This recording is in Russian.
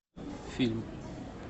фильм